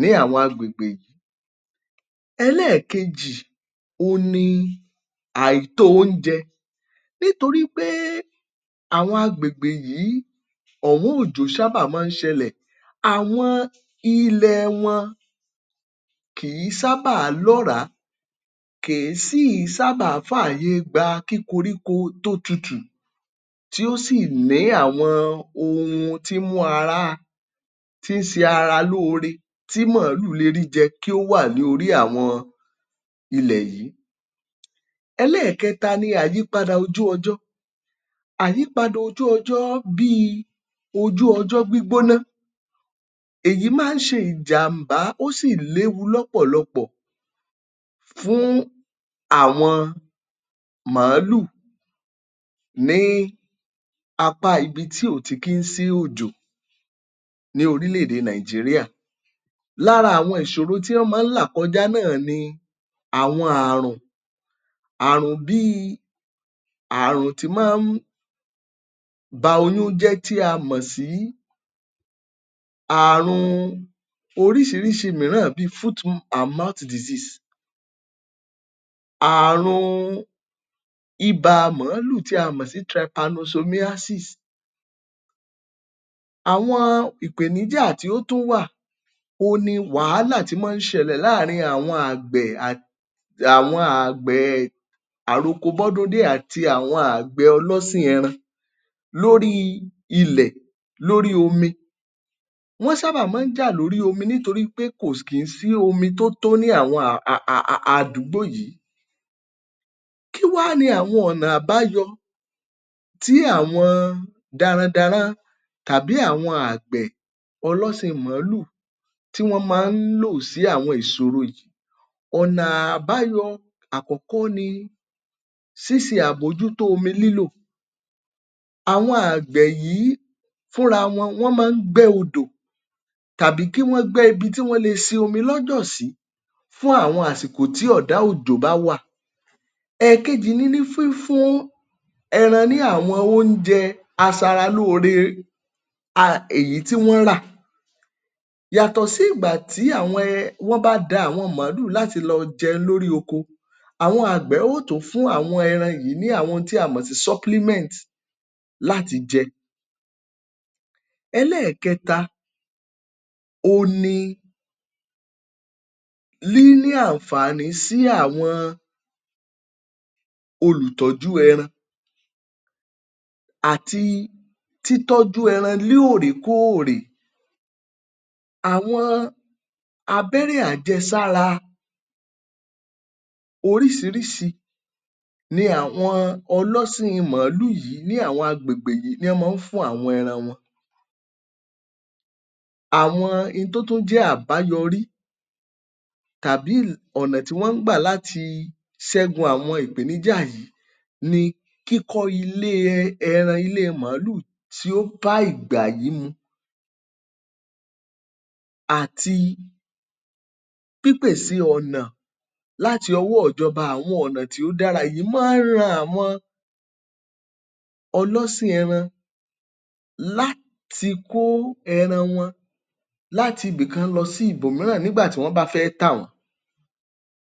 ní àwọn agbègbè yìí. Ẹlẹ́ẹ̀kejì òun ni àìtó-oúnjẹ nítorí pé àwọn agbègbè yìí ọ̀wọ́n òjò ṣábà máa ń sẹ́lẹ̀. Àwọn ilẹ̀ ẹ wọn kìí ṣábà lọ́ọ̀ràá, kìí sì sábà fáàyè gbà kí koríko tó tutù tí ó sì ní àwọn ohun tí í mú ara tí ṣe ara lóore tí mọ̀ọ́lù rẹ̀ ríjẹ, kí ó wà ní orí àwọn ilẹ̀ yìí. Ẹlẹ́ẹ̀kẹta ní àyípadà ojú ọjọ́. Àyípadà ojú ọjọ́ bíi ojú ọjọ́ gbígbóná. Èyí máa ń ṣe ìjàm̀bá, ó sì léwu lọ́pọ̀lọpọ̀ fún àwọn màálù ní apá ibi tí ó ti kì í sí òjò ní orílẹ̀ èdè Nàìjíríà. Lára àwọn ìṣòro tí wọ́n máa ń làkọjá náà ni àwọn àrùn. Ààrùn bíi àrùn tí máa ń ba oyún jẹ́ tí a mọ̀ sí ààrun oríṣiríṣi mìíràn bíi ààrùn ibà màálù tí a mọ̀ sí. Àwọn ìpéníjà tó tún wà òun ni àwọn wàhálà tó máa ń ṣẹlẹ̀ láàárín àwọn àgbẹ̀ àti àtawọn àgbẹẹ àrokobọ́dúndé àti àwọn àgbẹẹ ọlọ́sìn ẹran lórí ilẹ̀ lórí omi. Wọ́n sábà máa ń jà lórí omi nítorípé kò kì í sí omi tó tó ní àwọn a a àdúgbò yìí. Kí wa ni àwọn ọnà àbáyọ tí àwọn darandaran tàbí àgbẹ̀ ọlọ́sìn mọ̀ọ́lù tí wọ́n máa ń lò sí àwọn ìṣóro yìí. Ọ̀na àbáyọ àkọ́kọ́ ni ṣíṣe àbójútó omi lílò. Àwọn àgbẹ̀ yìí fúnra wọn wọ́n máa ń gbẹ́ odò tàbí kí wọ́n gbẹ́ ibi tí wọ́n lè ṣe omi lọ́jọ̀ sìí fún àwọn àsikò tí ọ̀dá òjò bá wà. Ẹ̀ẹkejì ní fífún ẹran ni àwọn oúnjẹ aṣaralóore èyí tí wọ́n rà. Yàtọ̀ sí ìgbà tí àwọn um tó bá da àwọn màálù láti lọ jẹun lórí oko, Àwọn àgbẹ̀ yóò tún fún àwọn ẹran yìí ní àwọn ohun tí a mọ sì láti jẹ. Ẹlẹ́ẹ̀kẹta òun ni níní àǹfààní sí àwọn olùtọ́jú ẹran àti títọ́jú ẹran lóòrèkóòrè. Àwọn abẹ́rẹ́ àjẹsára oríṣiríṣi ní àwọn ọlọ́sìn màálù yìí ni àwọn agbègbè yìí ní wọ́n máa ń fún àwọn ẹran wọn. Àwọn ohun tó tún jẹ́ àbáyọrí tàbí ọnà tí wọ́n ń gbà láti ṣẹ́gun àwọn ìpéníjà yìí ni kíkọ́ ilée ẹran ilée màálù tí ó bá ìgbà yìí mu àti pípèse ọ̀nà láti ọwọ́ọ ìjọba. Àwọn ọ̀nà tí ó dára yìí máa ń ran àwọn ọlọ́sìn ẹran láti kó ẹran wọn láti ibìkan sí ibòmíràn nígbà tí wọ́n bá fẹ́ tà wọ́n.